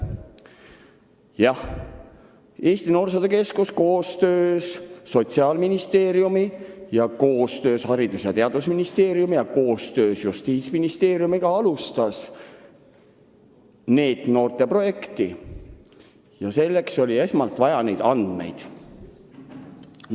Jah, Eesti Noorsootöö Keskus koostöös Sotsiaalministeeriumiga ja koostöös Haridus- ja Teadusministeeriumiga ja koostöös Justiitsministeeriumiga alustas NEET-noorte projekti ja selleks oli esmalt vaja teatud andmeid.